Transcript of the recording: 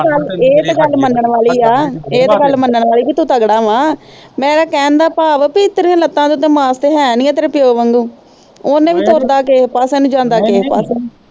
ਇਹ ਤੇ ਗੱਲ ਮਾਨਣ ਵਾਲੀ ਆ ਇਹ ਤੇ ਗੱਲ ਮਾਨਣ ਵਾਲੀ ਆ ਕਿ ਤੂੰ ਤਗੜਾ ਵਾ ਮੇਰੇ ਕਹਿਣ ਦਾ ਭਾਵ ਆ ਪੀ ਤੇਰੀਆਂ ਲੱਤਾਂ ਤੇ ਉਦਾ ਮਾਸ ਤੇ ਹੈ ਨਹੀਂ ਆ ਤੇਰੇ ਪੀਓ ਵਾਂਗੂ ਉਹਨੇ ਵੀ ਤੁਰਦਾ ਕਿਹ ਪਾਸੇ ਨੂੰ ਜਾਂਦਾ ਕਿਹ ਪਾਸੇ ਨੂੰ